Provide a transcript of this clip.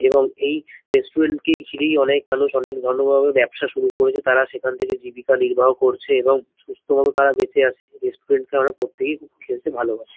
এবং এই রেস্টুরেন্ট কে ঘিরেই অনেক মানুষ অনেক ভালোভাবে ব্যাবসা শুরু করেছে তারা সেখান থেকে জীবিকা নির্বাহ করছে এবং সুস্থমত তারা বেঁচে আছে। রেস্টুরেন্ট এ আমরা প্রত্যেকেই খুব খেতে ভালোবাসি।